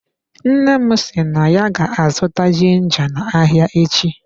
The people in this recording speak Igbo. Nne m si na ya ga-azụta ginga na ahịa echi.